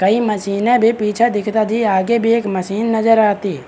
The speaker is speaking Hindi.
कई मशीने भी पीछे दिख रही आगे भी एक मशीन नजर आती।